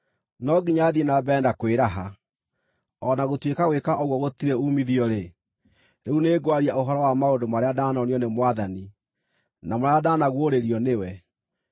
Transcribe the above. No nginya thiĩ na mbere na kwĩraha. O na gũtuĩka gwĩka ũguo gũtirĩ uumithio-rĩ, rĩu nĩngwaria ũhoro wa maũndũ marĩa ndanonio nĩ Mwathani, na marĩa ndanaguũrĩrio nĩwe.